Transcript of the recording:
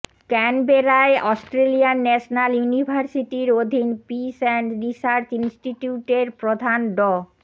ক্যানবেরায় Australian National ইউনিভার্সিটির অধীন peace and research ইনস্টিটিউটের প্রধান ড